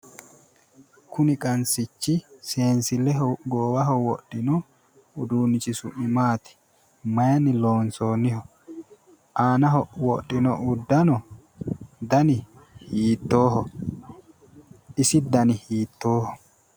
Kuni qansichi seensilleho goowaho wodhino uduunnichi su'mi maati? maayiinni loonsoonniho? aanaho wodhino udaano dani hiittooho? isi dani hiittooho?